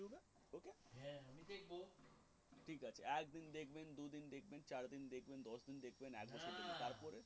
একদিন দেখবেন দুদিন দেখবেন চার দিন দেখবেন দশ দিন দেখবেন এগারো দিন দেখবেন